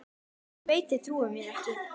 Ég veit þið trúið mér ekki.